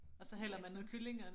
Og så hælder man noget kylling